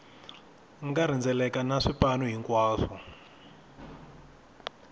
nga rhendzeleka na swipanu hinkwaswo